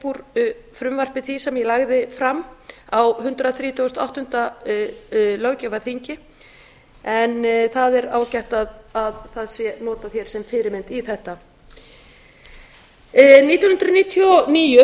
úr frumvarpi því sem ég lagði fram á hundrað þrítugasta og áttunda löggjafarþingi en það er ágætt að það sé notað hér sem fyrirmynd í þetta nítján hundruð níutíu og níu